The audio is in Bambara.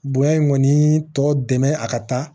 Bonya in kɔni tɔ dɛmɛ a ka taa